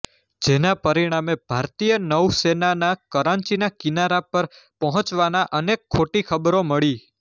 જેના પરિણામે ભારતીય નૌસેનાના કરાંચીના કિનારા પર પહોંચવાના અનેક ખોટી ખબરો મળી